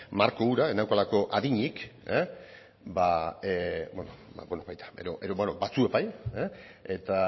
marko hura ez neukalako adinik batzuek bai eta